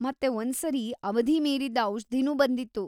ಮತ್ತೆ ಒಂದ್ಸರಿ ಅವಧಿ ಮೀರಿದ್ದ ಔಷ್ಧಿನೂ ಬಂದಿತ್ತು.